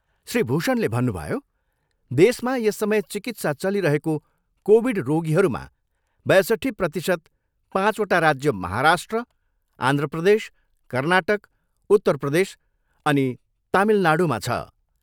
श्री भूषणले भन्नुभयो, देशमा यस समय चिकित्सा चलिरहेको कोभिड रोगीहरूमा बयसट्ठी प्रतिशत पाँचवटा राज्य महाराष्ट्र, आन्ध्र प्रदेश, कर्नाटक, उत्तर प्रदेश अनि तामिलनाडुमा छ।